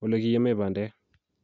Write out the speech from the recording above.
ole kiyaamei bandek